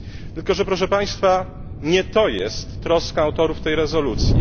Tylko że, proszę państwa, nie to jest troską autorów tej rezolucji.